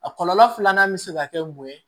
A kɔlɔlɔ filanan bɛ se ka kɛ mun ye